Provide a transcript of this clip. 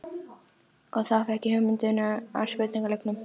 Og þá fékk ég hugmyndina að spurningaleiknum.